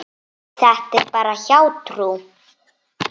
Þetta er bara hjátrú.